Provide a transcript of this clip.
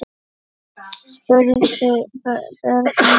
spurðu börnin.